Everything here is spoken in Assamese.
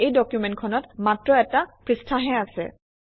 এই ডকুমেণ্টখনত মাত্ৰ এটা পৃষ্ঠাহে আছে